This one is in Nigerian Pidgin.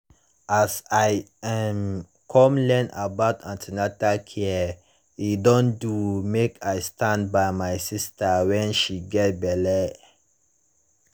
as i um come learn about an ten atal care e don do mek i stand by my sister wen she get belle